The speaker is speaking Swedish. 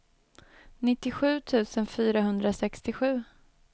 nittiosju tusen fyrahundrasextiosju